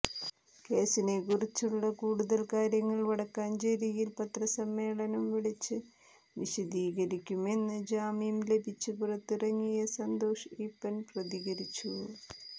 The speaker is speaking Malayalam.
കേസിനെക്കുറിച്ചുള്ള കൂടുതൽ കാര്യങ്ങൾ വടക്കാഞ്ചേരിയിൽ പത്രസമ്മേളനം വിളിച്ച് വിശദീകരിക്കുമെന്ന് ജാമ്യം ലഭിച്ച് പുറത്തിറങ്ങിയ സന്തോഷ് ഈപ്പൻ പ്രതികരിച്ചു